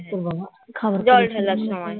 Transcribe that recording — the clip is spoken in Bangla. তোর বাবা খাবার